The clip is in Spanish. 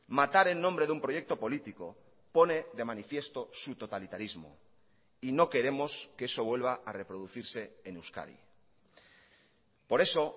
matar en nombre de un proyecto político pone de manifiesto su totalitarismo y no queremos que eso vuelva a reproducirse en euskadi por eso